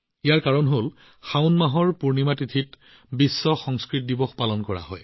ইয়াৰ কাৰণ হল শাওন মাহৰ পূৰ্ণিমা দিনা বিশ্ব সংস্কৃত দিৱস পালন কৰা হয়